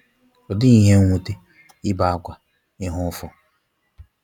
Ọ dighi ihe nwute, ibe akwa, ihe ụfụ.